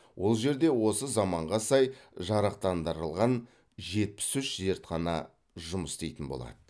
ол жерде осы заманға сай жарақтандырылған жетпіс үш зертхана жұмыс істейтін болады